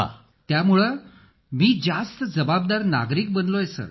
अखिल त्यामुळे मी जास्त जबाबदार नागरिक बनलो आहे सर